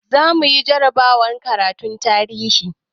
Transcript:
Zamuyi jarabawar karatun tarihi